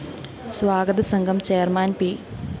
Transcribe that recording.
സ്വാഗത സംഘം chairman P